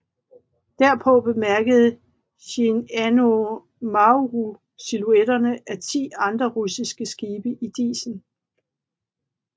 Derpå bemærkede Shinano Maru silhuetterne af ti andre russiske skibe i disen